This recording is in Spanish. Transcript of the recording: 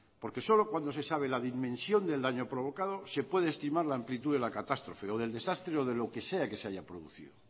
porque solo cuando se sabe la dimensión del daño provocado se puede estimar la amplitud de la catástrofe o del desastre o de lo que sea que se haya producido